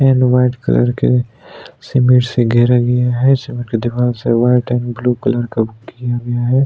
And white colour के cement से घेरा गया है सीमेंट की दीवार से वाइट एंड ब्लू कलर का वो किया गया है।